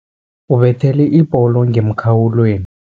Ubethele ibholo ngemkhawulweni.